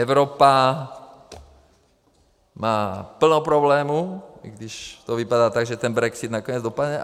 Evropa má plno problémů, i když to vypadá tak, že ten brexit nakonec dopadne.